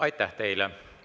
Aitäh teile!